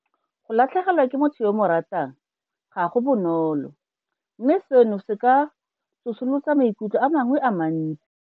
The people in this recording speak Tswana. Go latlhegelwa ke motho yo o mo ratang ga go bonolo mme seno se ka tsosolosa maikutlo a mangwe a mantsi.